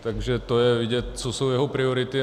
Takže to je vidět, co jsou jeho priority.